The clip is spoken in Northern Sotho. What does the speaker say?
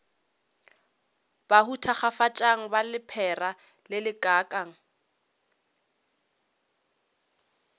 bahu thakgafatšang ba lephera lelekang